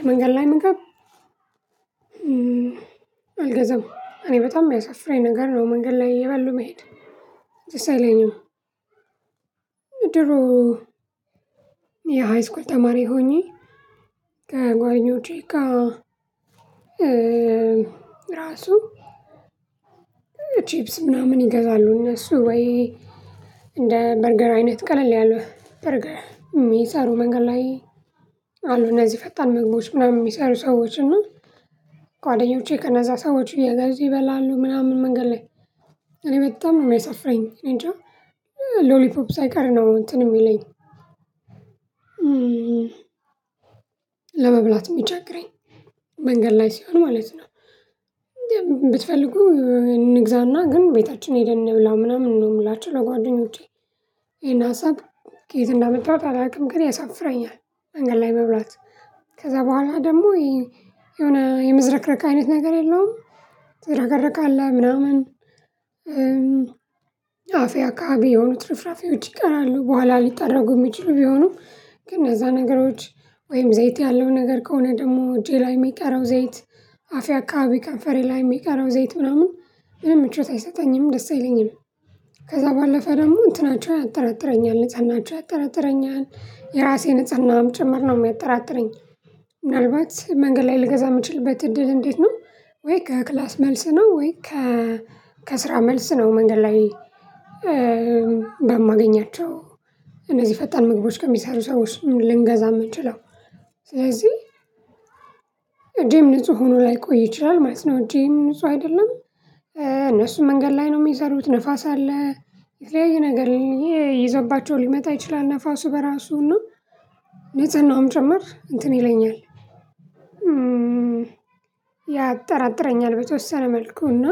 የመንገድ ላይ መንገድ አልገዛም እኔ በጣም የሚያሳፍረኝ ነገር ነው መንገድ ላይ እየበሉ መሄድ ደስአይለኝም። ድሮ የሃይስኩል ተማሪ ሆኜ ከጓኞቼ ጋር ራሱ ቺፕስ ምናምን ይገዛሉ እነሱ ወይ እንደ በርገር አይነት ቀለል ያለ በርገር ሚሰሩ መንገድ ላይ አሉና እዚህ ፈጣን መግባቶች ምናምን የሚሰሩ ሰዎች እና ጓደኞቼ ከነዛ ሰዎች እየገዙ ይበላሉ ምናምን መንገድ ላይ እኔ በጣም ነው የሚያሳፍረኝ እኔንጃ ሎሊፖፕ ሳይቀር ነው እንትን የሚለኝ ለመብላት የሚቸገረኝ መንገድ ላይ ሲሆን ማለት ነው። ብትፈልጉ እንግዛና ግን ቤታችን ሄደን ብላ ምናምን ነው የምላችሁ ለጓደኞቼ ይሄን ሀሳብ ከየት እንዳመጣሁት አላውቅም ግን ያሳፍረኛል። መንገድ ላይ መብላት ከዛ በኋላ ደግሞ የሆነ የምዝረክረክ አይነት ነገር የለውም። ትዝረከረካለህ ምናምን አፍያ አካባቢ የሆኑ ትርፍራፊዎች ይቀራሉ በኋላ ሊጠራጉ የሚችሉ ቢሆኑም ግን እዛ ነገሮች ወይም ዘይት ያለው ነገር ከሆነ ደግሞ እጄ ላይ የሚቀረው ዘይት አፍያ አካባቢ ከንፈሬ ላይሜ ጋር አረብ ዘይት ምናምን ምን ምቾት አይሰጠኝም ደስ አይለኝም። ከዛ ባለፈ ደግሞ እንትናቸውን ያጠራጥረኛል ንጽህናችው ያጠራጥረኛል የራሴን ንጽህናም ጭምር ነው የሚያጠራጥረኝ። ምናልባት መንገድ ላይ ልገዛ የምችልበት እድል እንዴት ነው ወይ? ከክላስ መልስ ነው ወይ? ከ ከስራ መልስ ነው። መንገድ ላይ በማገኛቸው እነዚህ ፈጣን ምግቦች ከሚሰሩ ሰዎች ልንገዛ የምንችለው ስለዚህ እጄም ንጹህ ሆኖ ላይቆይ ይችላል ማለት ነው። እጄም ንጹህ አይደለም። እነሱም መንገድ ላይ ነው የሚሰሩት ንፋስ አለ። የተለያዩ ነገር ይዞባቸው ሊመጣ ይችላል ነፋሱ በራሱ እና ንጽህናውም ጭምር እንትን ይለኛል። ያጠራጥረኛል በተወሰነ መልኩ እና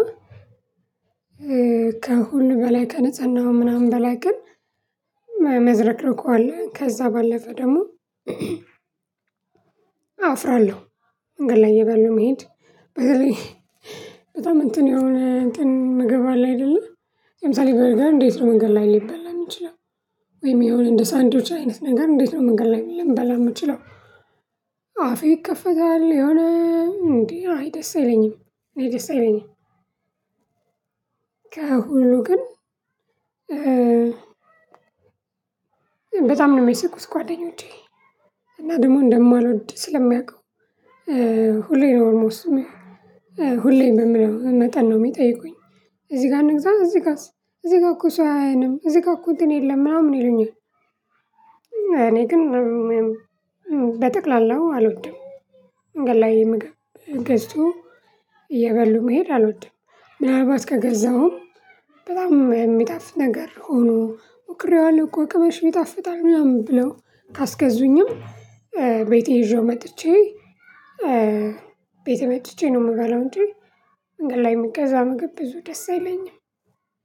ከሁሉ በላይ ከንጽህነው ምናምን በላይ ግን መዝረክረኩ አለ ከዛ ባለፈ ደግሞ አፍራለሁ። መንገድ ላይ እበሉ መሄድ በተለይ በጣም እንትን የሆነ እንትን ምግብ አለን አይደለም። ለምሳሌ በርገር እንዴት ነው መንገድ ላይ ሊበላ የሚችለው? ወይም የሆነ እንደ ሳንድሮጅ አይነት ነገር እንዴት ነው መንገድ ላይ ልንበላ የምንችለው? አፌ ይከፈታል የሆነ እንዴ አይደስ አይለኝም እኔ ደስ የለኝም። ከሁሉ ግን በጣም ነው የሚስቁት ጓደኞቼ እና ደግሞ እንደማልወድ ስለሚያውቁ ሁሌ ነው ኦልሞስት ሁሌ የምለው መጠን ነው የሚጠይቁኝ። እዚህ ጋር እንግዛ እዚህ ጋር እዚህ ጋር እኮ ሰው አያየንም እዚህ ጋር እኮ እንትን የለም ምናምን ይሉኛል። እኔ ግን በጠቅላላው አልወድም። መንገድ ላይ ምግብ ገዝቶ እየበሉ መሄድ አልወድም። ምናልባት ከገዛሁም በጣም የሚጣፍ ነገር ሆኖ ሞክሬዋለሁ እኮ ቅበሽ ቢጣፍጣም ያም ብለው ካስገዙኝም ቤቴ ይዤው መጥቼ ቤቴ መጥቼ ነው የምበላው። እንጂ መንገድ ላይ ሚገዛ ምግብ ብዙ ደስ አይለኝም።